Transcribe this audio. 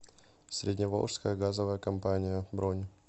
средневолжская газовая компания бронь